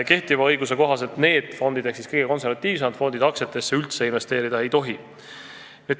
Kehtiva õiguse kohaselt need kõige konservatiivsemad fondid aktsiatesse üldse investeerida ei tohi.